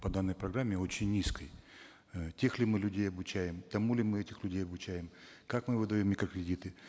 по данной программе очень низкой э тех ли мы людей обучаем тому ли мы этих людей обучаем как мы выдаем микрокредиты